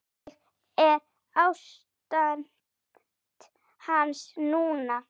Hvernig er ástand hans núna?